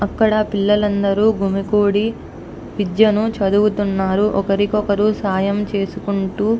అక్కడ పిల్లలందరూ గుమికూడి విద్యను చదువుతున్నారు ఒకరికొకరు సాయం చేసుకుంటూ --